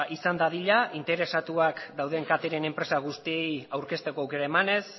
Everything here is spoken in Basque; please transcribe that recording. izan dadila interesatuak dauden catering enpresa guztiei aurkezteko aukera emanez